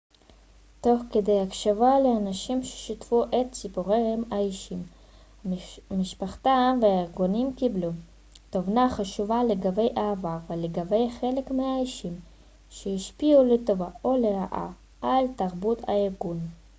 תוך כדי הקשבה לאנשים ששיתפו את סיפוריהם האישיים המשפחתיים וארגוניים קיבלנו תובנה חשובה לגבי העבר ולגבי חלק מהאישים שהשפיעו לטובה או לרעה על תרבות הארגון